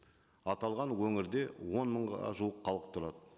аталған өңірде он мыңға жуық халық тұрады